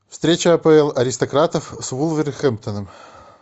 встреча апл аристократов с вулверхэмптоном